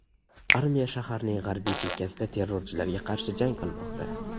Armiya shaharning g‘arbiy chekkasida terrorchilarga qarshi jang qilmoqda.